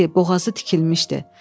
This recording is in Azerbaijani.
Gəl ki, boğazı tikilmişdi.